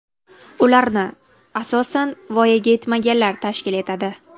Ularni, asosan, voyaga yetmaganlar tashkil etadi.